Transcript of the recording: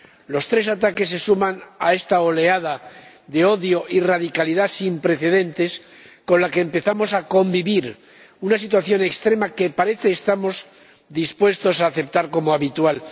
Los tres ataques se suman a esta oleada de odio y radicalidad sin precedentes con la que empezamos a convivir, una situación extrema que parece que estamos dispuestos a aceptar como habitual.